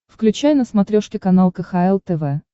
включай на смотрешке канал кхл тв